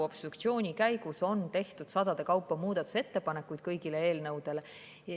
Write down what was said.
Obstruktsiooni käigus on tehtud sadade kaupa muudatusettepanekuid kõigi eelnõude kohta.